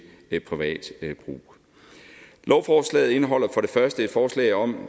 privat brug lovforslaget indeholder for det første et forslag om